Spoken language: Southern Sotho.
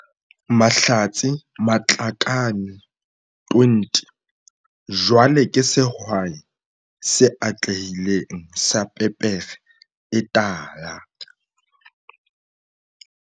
Mahlatse Matlakane, 20, jwale ke sehwai se atlehileng sa pepere e tala.